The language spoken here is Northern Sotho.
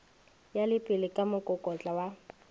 ya lepelle ka mokokotlo wa